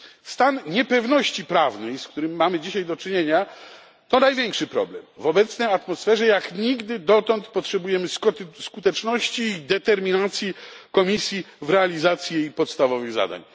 Stan niepewności prawnej, z którym mamy dzisiaj do czynienia, to największy problem. W obecnej atmosferze jak nigdy dotąd potrzebujemy skuteczności i determinacji Komisji w realizacji jej podstawowych zadań.